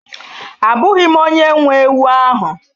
Abụghị m onye nwe ewu ahụ